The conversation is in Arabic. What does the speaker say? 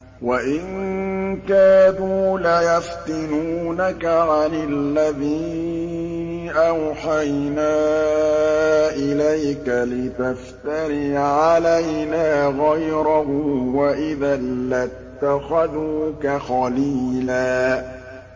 وَإِن كَادُوا لَيَفْتِنُونَكَ عَنِ الَّذِي أَوْحَيْنَا إِلَيْكَ لِتَفْتَرِيَ عَلَيْنَا غَيْرَهُ ۖ وَإِذًا لَّاتَّخَذُوكَ خَلِيلًا